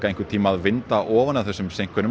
einhvern tíma að vinda ofan af þessum